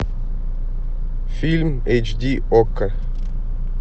фильм эйч ди окко